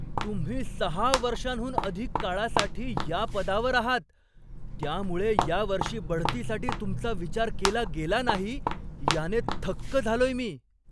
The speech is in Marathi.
तुम्ही सहा वर्षांहून अधिक काळासाठी या पदावर आहात, त्यामुळे या वर्षी बढतीसाठी तुमचा विचार केला गेला नाही याने थक्क झालोय मी.